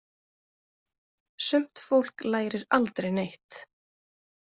Sumt fólk lærir aldrei neitt.